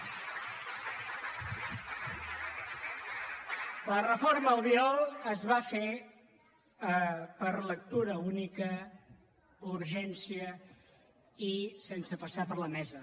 la reforma albiol es va fer per lectura única urgència i sense passar per la mesa